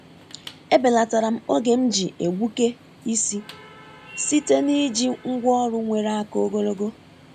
E belatara'm oge m ji egbuke isi site n’iji ngwá ọrụ nwere aka ogologo.